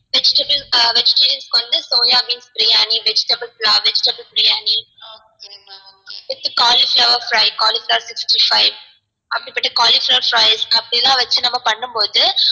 vegetable ஆ vegetarians க்கு வந்து soya beans biryani vegetable pulav vegetable biryani with cauliflower fry cauliflower sixty five cauliflower fries அப்டிலாம் வச்சி நம்ம பண்ணும் போது